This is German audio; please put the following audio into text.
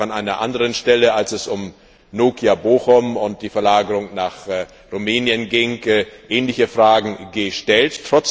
Wir haben ja auch an einer anderen Stelle, als es um Nokia in Bochum und die Verlagerung nach Rumänien ging, ähnliche Fragen gestellt.